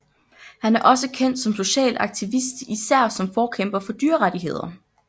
Han er også kendt som social aktivist især som forkæmper for dyrerettigheder